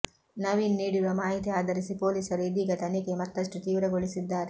ನವೀನ್ ನೀಡಿರುವ ಮಾಹಿತಿ ಆಧರಿಸಿ ಪೊಲೀಸರು ಇದೀಗ ತನಿಖೆ ಮತ್ತಷ್ಟು ತೀವ್ರಗೊಳಿಸಿದ್ದಾರೆ